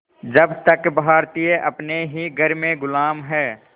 जब तक भारतीय अपने ही घर में ग़ुलाम हैं